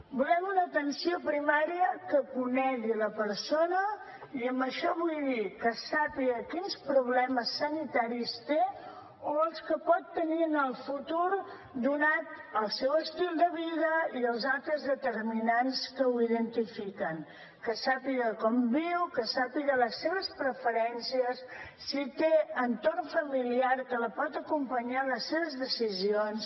volem una atenció primària que conegui la persona i amb això vull dir que sàpiga quins problemes sanitaris té o els que pot tenir en el futur donat el seu estil de vida i els altres determinants que ho identifiquen que sàpiga com viu que sàpiga les seves preferències si té entorn familiar que la pot acompanyar en les seves decisions